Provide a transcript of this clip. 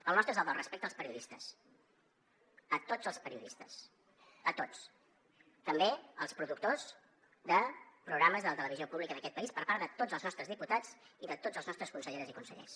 el nostre és el del respecte als periodistes a tots els periodistes a tots també als productors de programes de la televisió pública d’aquest país per part de tots els nostres diputats i de tots els nostres conselleres i consellers